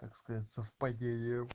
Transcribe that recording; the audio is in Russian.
так сказать совпадение